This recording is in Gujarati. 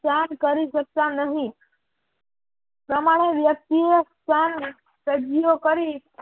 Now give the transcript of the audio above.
જાણ કરી શકતા નહિ પ્રમાણે વ્યક્તિ એ પણ કજીયો કરી